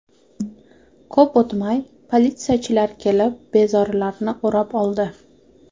Ko‘p o‘tmay politsiyachilar kelib, bezorilarni o‘rab oldi.